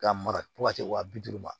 K'a mara fo ka se wa bi duuru ma